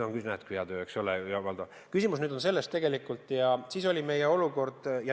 On küll, näed, hea töö, eks ole.